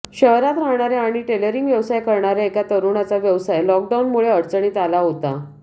शहरात राहणाऱ्या आणि टेलरिंग व्यवसाय करणाऱ्या एका तरुणाचा व्यवसाय लॉकडाऊनमुळे अडचणीत आला होता